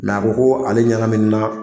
La a ko ko ale ɲɛnaminina